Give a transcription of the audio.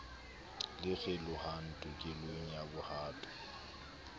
le kgelohang tokelong ya bohato